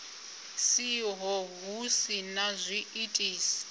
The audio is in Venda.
siho hu si na zwiitisi